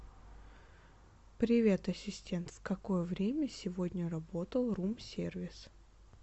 привет ассистент в какое время сегодня работал рум сервис